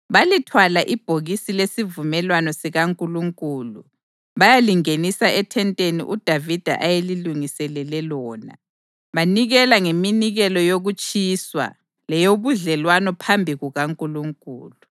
Balithwala ibhokisi lesivumelwano sikaNkulunkulu bayalingenisa ethenteni uDavida ayelilungiselele lona, banikela ngeminikelo yokutshiswa leyobudlelwano phambi kukaNkulunkulu.